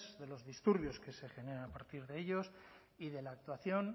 de los disturbios que se generan a partir de ellos y de la actuación